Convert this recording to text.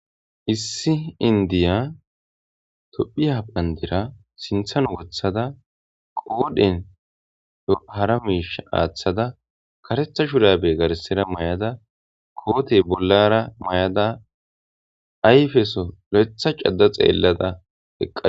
issi indiya tophiya bandira sinthan wothada qoodhen hara miish aaththada karetha shurabe garsera may7ada kootey bollara may7ada ayfeso lo7etha cada xeellada heqqa